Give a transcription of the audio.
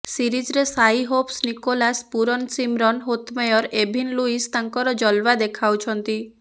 ସିରିଜରେ Shai Hope Nicholas Pooran Shimron Hetmyer Evin Lewis ତାଙ୍କର ଜଲୱା ଦେଖାଉଛନ୍ତି